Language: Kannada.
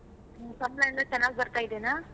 ಸಂಬ್ಳ ಎಲ್ಲಾ ಚೆನ್ನಾಗ್ ಬರ್ತಾ ಇದೇನಾ?